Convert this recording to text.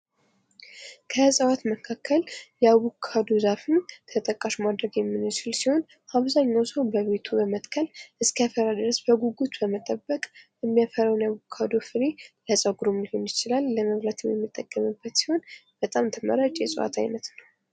ከእጽዋት መካከል ያቦካዶ ዛፍን ተጠቃሽ ማድረግ የሚችል ሲሆን አብዛኛውን ሰው በቤቱ በመትከል እስኪያፈራ ድረስ በጉጉት በመጠበቅ የሚያፈራውን ያቦካዶ ፍሬ ለጸጉር ሊሆን ይችላል ለመብላት የሚጠቀሙበት በጣም ተመራጭ የእጽዋት አይነት ነው።